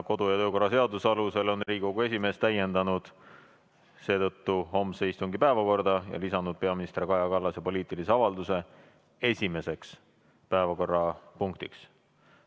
Kodu- ja töökorra seaduse alusel on Riigikogu esimees täiendanud seetõttu homse istungi päevakorda ja lisanud peaminister Kaja Kallase poliitilise avalduse esimeseks päevakorrapunktiks.